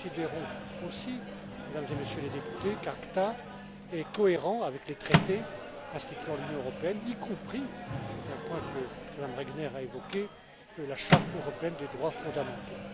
Nous considérons aussi, Mesdames et Messieurs les députés, qu'ACTA est cohérent avec les traités instituant l'Union européenne, y compris c'est un point que Mme Regner a évoqué la Charte européenne des droits fondamentaux.